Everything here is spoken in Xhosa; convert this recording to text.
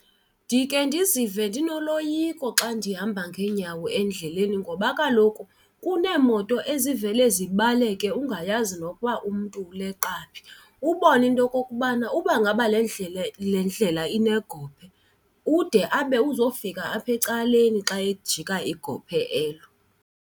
Ndike ndizive ndinoloyiko xa ndihamba ngeenyawo endleleni ngoba kaloku kuneemoto ezivele zibaleke ungayazi nokuba umntu uleqa phi. Ubone into yokokubana uba ngaba le ndlela le ndlela inegophe, ude abe uzofika apha ecaleni xa ejika igophe elo.